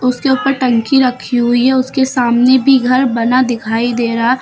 उसके ऊपर टंकी रखी हुई है उसके सामने भी घर बना दिखाई दे रहा--